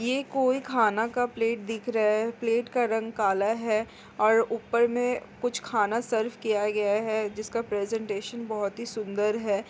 ये कोई खाना का प्लेट दिख रहा है प्लेट का रंग काला है और ऊपर में कुछ खाना सर्व किया गया है जिसका प्रेजेंटेशन बहुत ही सुंदर हैं।